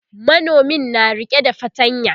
manomin na rike da fatanya